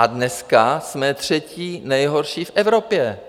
A dneska jsme třetí nejhorší v Evropě.